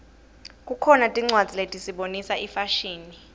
kukhona tincwadzi letisibonisa ifashini